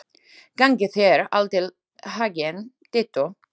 Gangi þér allt í haginn, Dittó.